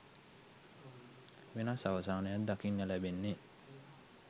වෙනස් අවසානයක් දකින්න ලැබෙන්නේ.